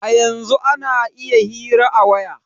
A yanzun ana iya hira a waya